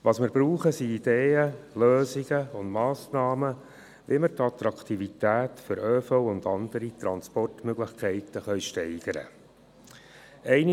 Was wir brauchen, sind Ideen, Lösungen und Massnahmen, wie wir die Attraktivität des öffentlichen Verkehrs und anderer Transportmöglichkeiten steigern können.